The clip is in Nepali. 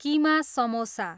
किमा समोसा